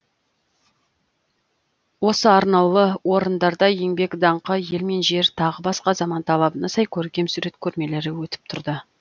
осы арнаулы орындарда еңбек даңқы ел мен жер тағы басқа заман талабына сай көркемсурет көрмелері өтіп тұрды